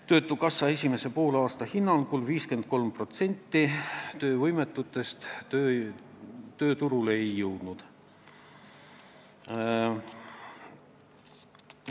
Töötukassa hinnangul esimesel poolaastal 53% töövõimetutest tööturule ei jõudnud.